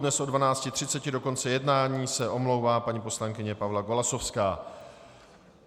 Dnes od 12.30 do konce jednání se omlouvá paní poslankyně Pavla Golasowská.